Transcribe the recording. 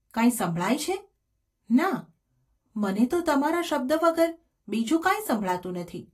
કાંઈ સંભળાય છે ?’ ‘ના; મને તો તમારા શબ્દ વગર બીજું કાંઈ સંભળાતું નથી.